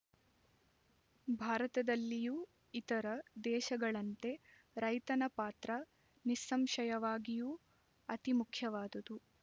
ಭಾರತದಲ್ಲಿಯೂ ಇತರ ದೇಶಗಳಂತೆ ರೈತನ ಪಾತ್ರ ನಿಸ್ಸಂಶಯವಾಗಿಯೂ ಅತಿಮುಖ್ಯವಾದುದು